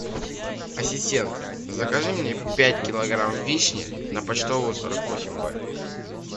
ассистент закажи мне пять килограмм вишни на почтовую сорок восемь б